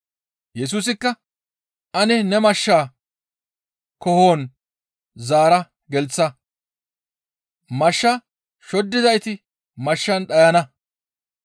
Yesusikka, «Ane ne mashshaa koohon zaara gelththa; mashsha shoddizayti mashshan dhayana.